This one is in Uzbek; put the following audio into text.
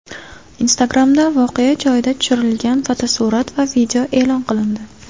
Instagram’da voqea joyida tushirilgan fotosurat va video e’lon qilindi.